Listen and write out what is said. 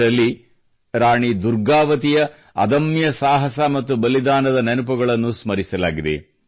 ಇದರಲ್ಲಿ ರಾಣಿ ದುರ್ಗಾವತಿಯ ಅದಮ್ಯ ಸಾಹಸ ಮತ್ತು ಬಲಿದಾನದ ನೆನಪುಗಳನ್ನು ಸ್ಮರಿಸಲಾಗಿದೆ